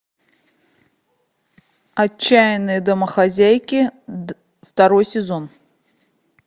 отчаянные домохозяйки второй сезон